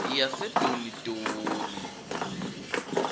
yasedonidoni